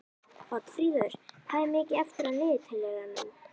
Oddfríður, hvað er mikið eftir af niðurteljaranum?